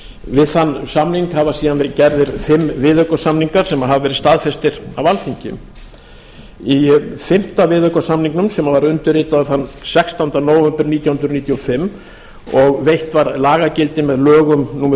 við þann samning hafa síðan verið gerðir fimm viðaukasamningar sem hafa verið staðfestir af alþingi í fimmta viðaukasamningnum sem var undirritaður þann sextánda nóvember nítján hundruð níutíu og fimm og veitt var lagagildi með lögum númer